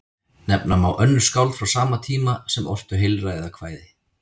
Nefna má önnur skáld frá sama tíma sem ortu heilræðakvæði.